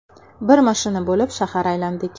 Bir mashina bo‘lib shahar aylandik.